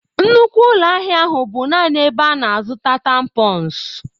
Nnukwu ụlọ ahịa ahụ bụ naanị ebe a na-azụta tampons.